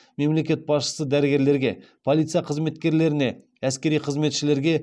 мемлекет басшысы дәрігерлерге полиция қызметкерлеріне әскери қызметшілерге